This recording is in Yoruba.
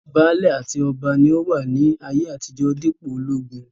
Baálẹ̀ àti ọba ni ó wà ní ayé àtijó dípò ológun